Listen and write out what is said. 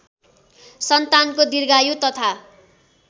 सन्तानको दीर्घायु तथा